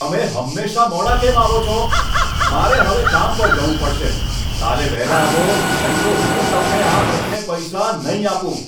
તમે હંમેશા મોડા કેમ આવો છો? મારે હવે કામ પર જવું પડશે! કાલે વહેલા આવો, નહીં તો હું તમને આ મહિને પૈસા નહીં આપું.